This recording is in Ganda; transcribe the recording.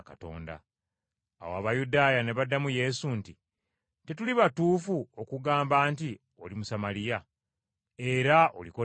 Awo Abayudaaya ne baddamu Yesu nti, “Tetuli batuufu okugamba nti oli Musamaliya, era oliko dayimooni?”